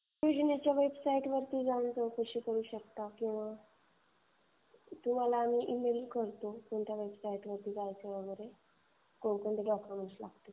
योजनेच्या वेबसाइटवर जाऊन तुम्ही चौकशी करू शकता. तुम्हाला हमी ईमेल करतो कोणत्या वेबसाइटवर जायचं वगैरे. कोणकोणते डॉक्युमेंट्स लागतील ते.